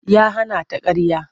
Ya hana ta ƙarya.